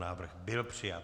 Návrh byl přijat.